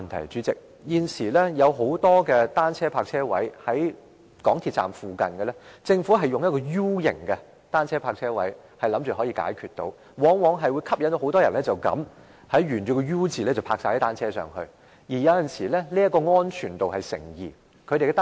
代理主席，現時有很多設在港鐵站附近的單車泊車位，政府均採用 U 形設計，期望可以解決問題，但往往吸引很多人沿着 U 形車位停放單車，有時候令其安全度成疑。